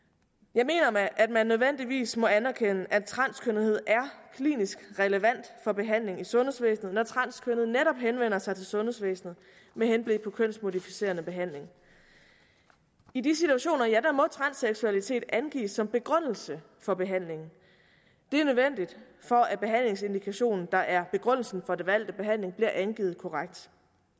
jeg mener at man nødvendigvis må anerkende at transkønnethed er klinisk relevant for behandling i sundhedsvæsenet når transkønnede netop henvender sig til sundhedsvæsenet med henblik på kønsmodificerende behandling i de situationer må transseksualitet angives som begrundelse for behandlingen det er nødvendigt for at behandlingsindikationen der er begrundelsen for den valgte behandling bliver angivet korrekt